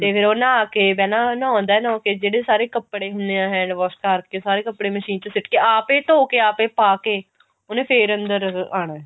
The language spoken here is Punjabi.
ਤੇ ਫਿਰ ਉਹ ਨਹਾ ਕੇ ਪਹਿਲਾਂ ਨਹਾਉਂਦਾ ਨਹਾ ਕੇ ਜਿਹੜੇ ਸਾਰੇ ਕੱਪੜੇ ਹੁਨੇ ਆ hand wash ਕਰਕੇ ਸਾਰੇ ਕੱਪੜੇ ਮਸ਼ੀਨ ਚ ਸਿੱਟ ਕੇ ਆਪੇ ਧੋਕੇ ਆਪੇ ਪਾਕੇ ਉਹਨੇ ਫਿਰ ਅੰਦਰ ਆਉਣਾ